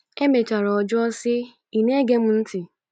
Emechara ọ jụọ sị, “Ị̀ na-ege m ntị?"